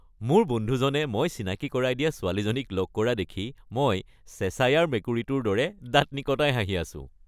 মোৰ বন্ধুজনে মই চিনাকী কৰাই দিয়া ছোৱালীজনীক লগ কৰা দেখি মই চেশ্বায়াৰ মেকুৰীটোৰ দৰে দাঁত নিকটাই হাঁহি আছোঁ।